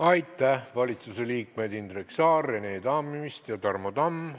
Aitäh, valitsusliikmed Indrek Saar, Rene Tammist ja Tarmo Tamm!